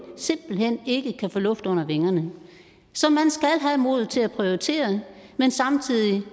simpelt hen ikke kan få luft under vingerne så man skal have modet til at prioritere men samtidig